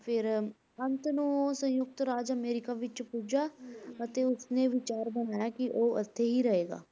ਫਿਰ ਅੰਤ ਨੂੰ ਉਹ ਸੰਯੁਕਤ ਰਾਜ ਅਮਰੀਕਾ ਵਿੱਚ ਪੁੱਜਾ ਤੇ ਉਸਨੇ ਵਿਚਾਰ ਬਣਾਇਆ ਕਿ ਉਹ ਇੱਥੇ ਹੀ ਰਹੇਗਾ।